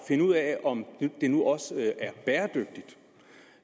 finde ud af om det nu også er bæredygtigt